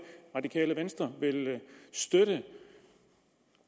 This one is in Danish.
radikale venstre vil støtte